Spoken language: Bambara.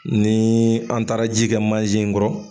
Ni an taara ji kɛ manje in kɔrɔ